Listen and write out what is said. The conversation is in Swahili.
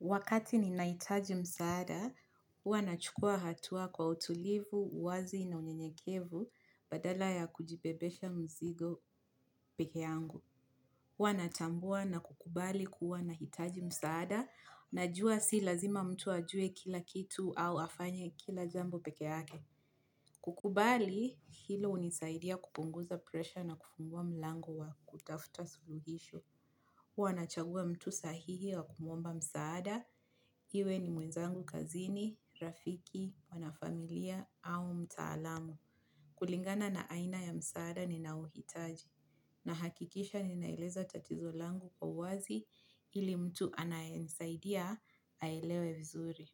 Wakati ninahitaji msaada, huwa nachukua hatua kwa utulivu, wazi na unyenyekevu badala ya kujibebesha mzigo peke yangu. Huwa natambua na kukubali kuwa nahitaji msaada najua si lazima mtu ajue kila kitu au afanye kila jambo peke ake. Kukubali, hilo unisaidia kupunguza presha na kufungua mlangu wa kutafuta suluhisho. Huwa nachagua mtu sahihi wa kumuomba msaada, iwe ni mwenzangu kazini, rafiki, wanafamilia au mtaalamu. Kulingana na aina ya msaada ninaouhitaji, nahakikisha ninaeleza tatizo langu kwa wazi ili mtu anayenisaidia aelewe vizuri.